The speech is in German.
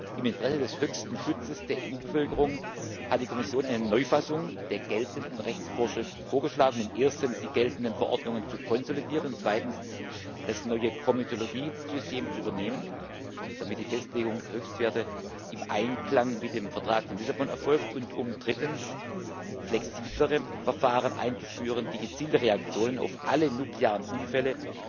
Im Interesse des höchsten Schutzes der EU Bevölkerung hat die Kommission eine Neufassung der geltenden Rechtsvorschriften vorgeschlagen, um erstens die geltenden Verordnungen zu konsolidieren, um zweitens das neue Ausschussverfahrenssystem zu übernehmen, damit die Festlegung der Höchstwerte im Einklang mit dem Vertrag von Lissabon erfolgt, und um drittens flexiblere Verfahren einzuführen, die gezielte Reaktionen auf alle nuklearen Unfälle